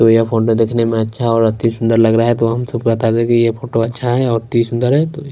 और यहाँ फोन में देखने में अच्छा और अति सुंदर लग रहा है तो हम सब को बता दे कि यह फोटो अच्छा है और अति सुंदर है तो यह --